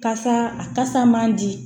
Kasa a kasa man di